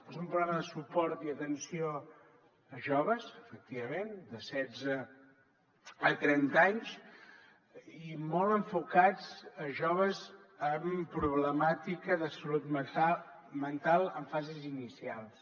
és un programa de suport i atenció a joves efectivament de setze a trenta anys i molt enfocat a joves amb problemàtica de salut mental en fases inicials